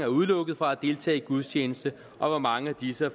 udelukket fra at deltage i en gudstjeneste og hvor mange af disse